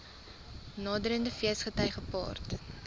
naderende feesgety gepaard